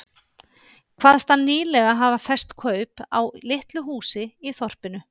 Kvaðst hann nýlega hafa fest kaup á litlu húsi í þorpinu